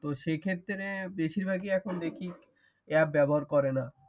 তো সেক্ষেত্রে এখন দেখি অ্যাপ ব্যবহার করে না